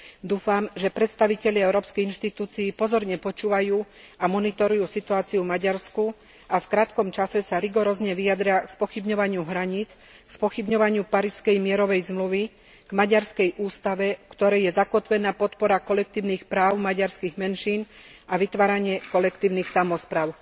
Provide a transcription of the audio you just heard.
Dúfam, že predstavitelia Európskych inštitúcií pozorne počúvajú a monitorujú situáciu v Maďarsku a v krátkom čase sa rigorózne vyjadria k spochybňovaniu hraníc, k spochybňovaniu Parížskej mierovej zmluvy, k maďarskej ústave, v ktorej je zakotvená podpora kolektívnych práv maďarských menšín a vytváranie kolektívnych samospráv.